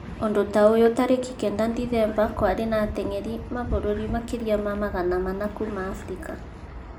ũndũ ta ũyũ tarĩki kenda Dithemba kĩarĩ na atengeri mabũrũri makĩria ma magana manna kuuma Afrika